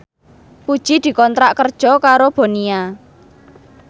Puji dikontrak kerja karo Bonia